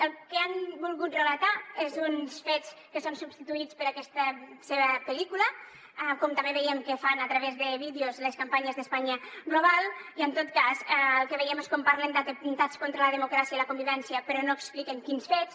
el que han volgut relatar són uns fets que són substituïts per aquesta seva pel·lícula com també veiem que fan a través de vídeos les campanyes d’españa global i en tot cas el que veiem és com parlen d’ atemptats contra la democràcia i la convivència però no expliquen quins fets